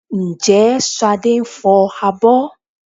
Ǹjẹ́ Ṣadé ń fọ abọ́?